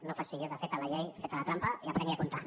no faci allò de feta la llei feta la trampa i aprengui a comptar